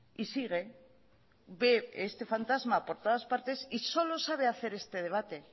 y sigue ve este fantasma por todas partes y solo sabe hacer este debate